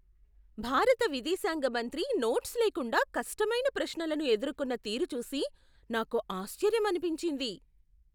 భారత విదేశాంగ మంత్రి నోట్స్ లేకుండా కష్టమైన ప్రశ్నలను ఎదుర్కున్న తీరు చూసి నాకు ఆశ్చర్యమనిపించింది!